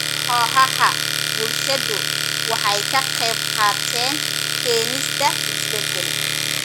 Kooxaha bulshadu waxay ka qaybqaateen keenista isbedel.